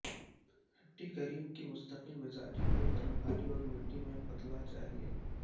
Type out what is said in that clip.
ھٹی کریم کی مستقل مزاجی کو گرم پانی اور مٹی میں پتلا چاہیے